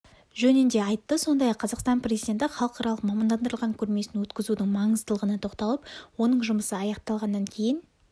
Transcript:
жөнінде айтты сондай-ақ қазақстан президенті халықаралық мамандандырылған көрмесін өткізудің маңыздылығына тоқталып оның жұмысы аяқталғаннан кейін